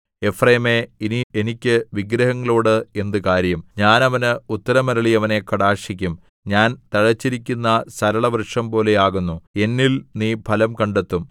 എഫ്രയീമേ ഇനി എനിക്ക് വിഗ്രഹങ്ങളോട് എന്ത് കാര്യം ഞാൻ അവന് ഉത്തരം അരുളി അവനെ കടാക്ഷിക്കും ഞാൻ തഴച്ചിരിക്കുന്ന സരള വൃക്ഷംപോലെ ആകുന്നു എന്നിൽ നീ ഫലം കണ്ടെത്തും